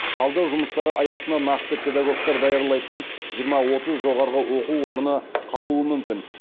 талдау жұмыстары аясында нақты педагогтар даярлайтын жиырма отыз жоғары оқу орны қалуы мүмкін